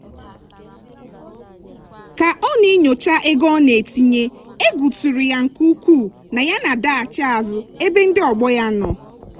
ka ọ na-enyocha ego ọ na-etinye egwu tụrụ ya nke ukwuu na ya na-adaghachi azụ ebe ndị ọgbọ ya nọ.